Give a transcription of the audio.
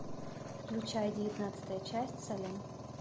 включай девятнадцатая часть салем